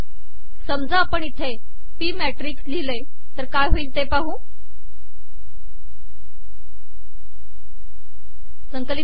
समजा आपण इथे पी मॅिटकस िलिहले तर हे िमळेल